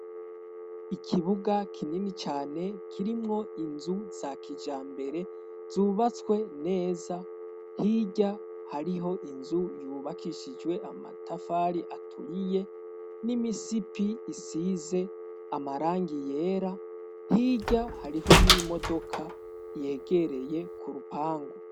Ikibuga kinini cane kirimwo inzu za kijambere zubatswe neza hirya hariho inzu yubakishijwe amatafari aturiye n'imisipi isize amarangi yera hirya hariho n'imodoka yegereye ku rupangu.